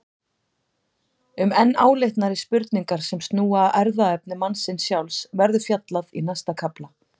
Um enn áleitnari spurningar sem snúa að erfðaefni mannsins sjálfs verður fjallað í næsta kafla.